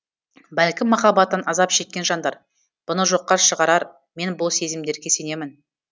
бәлкім махаббаттан азап шеккен жандар бұны жоққа шығарар мен бұл сезімдерге сенемін